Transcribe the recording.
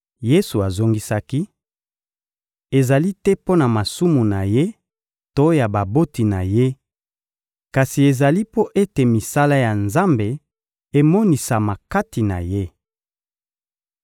Yesu azongisaki: — Ezali te mpo na masumu na ye to ya baboti na ye, kasi ezali mpo ete misala ya Nzambe emonisama kati na ye.